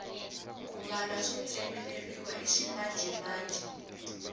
ku mbala swo tsemeleriwa i ximanjhemanjhe